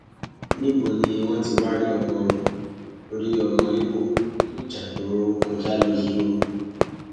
níbo ni wọn ti wáá rí ọmọ rí ọmọ ibo nínú ìjà tó kọjá lọ yìí o